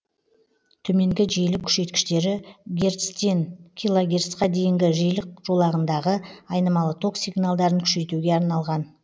төменгі жиілік күшейткіштері герцтен килогерцке дейінгі жиілік жолағындағы айнымалы ток сигналдарын күшейтуге арналған